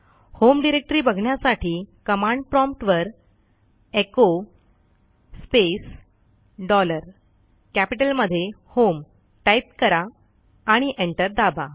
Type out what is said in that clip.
home directory बघण्यासाठी command prompt वर echo space dollar कॅपिटलमधे होम टाईप करा आणि एंटर दाबा